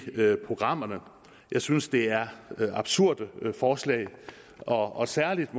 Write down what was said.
programmerne jeg synes det er absurde forslag og særligt